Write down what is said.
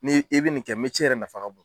Ni i bi nin kɛ yɛrɛ fanka ka bon.